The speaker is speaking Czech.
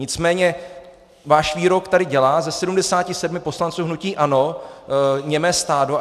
Nicméně váš výrok tady dělá ze 77 poslanců hnutí ANO němé stádo.